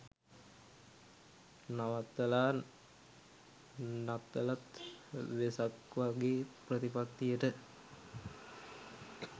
නවත්තලා නත්තලත් වෙසක් වගේ ප්‍රතිපත්තියට